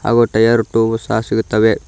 ಹಾಗು tyre tube ಸಹ ಸಿಗುತ್ತವೆ.